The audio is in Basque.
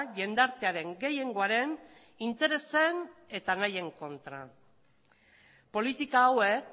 jendartearen gehiengoaren interesen eta nahien kontra politika hauek